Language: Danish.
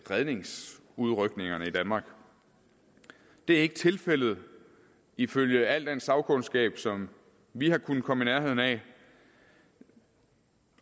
redningsudrykningerne i danmark det er ikke tilfældet ifølge al den sagkundskab som vi har kunnet komme i nærheden af